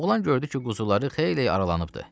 Oğlan gördü ki, quzuları xeyli aralanıbdı.